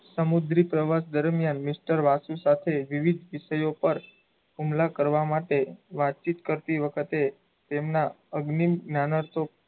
સમુદ્રી પ્રવાસ દરમિયાન mister વાસુ સાથે વિવિધ વિષયો પર હુમલા કરવાં માટે વાતચીત કરતી વખતે તેમનાં અગ્નિ જ્ઞાનાર્થો,